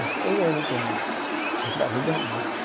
Ele ficou um ano internado, entre a vida e a morte.